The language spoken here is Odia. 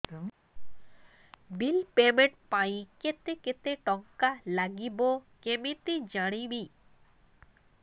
ବିଲ୍ ପେମେଣ୍ଟ ପାଇଁ କେତେ କେତେ ଟଙ୍କା ଲାଗିବ କେମିତି ଜାଣିବି